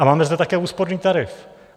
A máme zde také úsporný tarif.